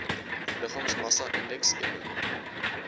liggaamsmassa indeks eno